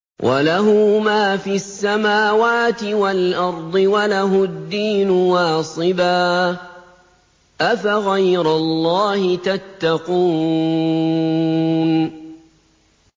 وَلَهُ مَا فِي السَّمَاوَاتِ وَالْأَرْضِ وَلَهُ الدِّينُ وَاصِبًا ۚ أَفَغَيْرَ اللَّهِ تَتَّقُونَ